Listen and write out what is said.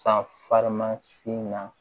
San farima sin na